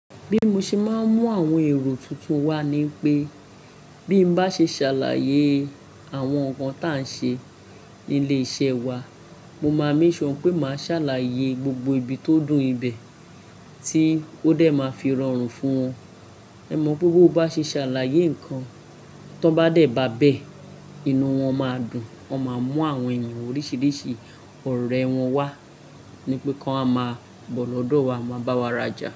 Bí mo ṣe máa ń mú àwọn èrò tuntun wá ni pé bí mo bá ṣe ṣàlàyé àwọn nǹkan tí à ń ṣe ní ilé iṣẹ́ wa, mo máa make sure pé màá ṣàlàyé gbogbo ibi tó dùn ibẹ̀ tí ó dẹ̀ máa fi rọrùn fún wọn. Ẹ mọ pé bó bá ṣe ṣàlàyé nǹkan tó bá dẹ̀ ba bẹ́ẹ̀, inú wọn máa dùn. Wọn máa mú àwọn ènìyàn oríṣiríṣi ọ̀rẹ́ wọn wá ni pé kí wọ́n máa bọ́ lọ́dọ̀ wa máa bá wa raja.